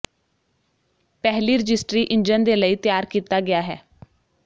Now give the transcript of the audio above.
ਪਹਿਲੀ registry engine ਦੇ ਲਈ ਤਿਆਰ ਕੀਤਾ ਗਿਆ ਹੈ